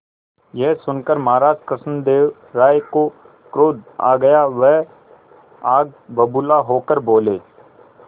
यह सुनकर महाराज कृष्णदेव राय को क्रोध आ गया वह आग बबूला होकर बोले